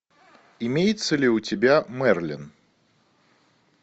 имеется ли у тебя мерлин